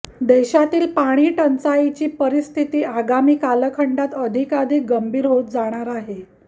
देशातील पाणीटंचाईची परिस्थिती आगामी कालखंडात अधिकाधिक गंभीर होत जाणार आहे